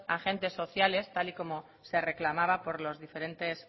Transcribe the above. agentes sociales tal y como se reclamaba por los diferentes